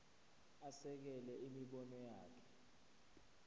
asekele imibono yakhe